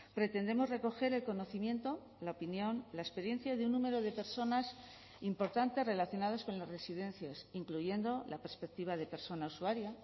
pretendemos recoger el conocimiento la opinión la experiencia de un número de personas importantes relacionadas con las residencias incluyendo la perspectiva de persona usuaria